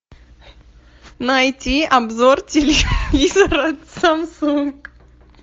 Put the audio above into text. найти обзор телевизора самсунг